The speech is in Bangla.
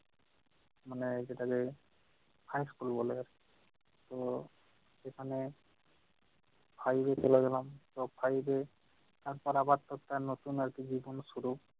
মানে যেটাকে high school বলে। তো মানে five এ চলে গেলাম তো five এ পড়া পার্থক্য আর নতুন আর কি জীবন শুরু।